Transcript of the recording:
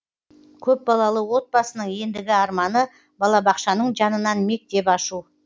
көпбалалы отбасының ендігі арманы балабақшаның жанынан мектеп ашу